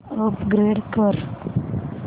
upgrade कर